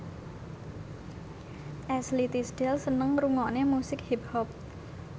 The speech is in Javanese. Ashley Tisdale seneng ngrungokne musik hip hop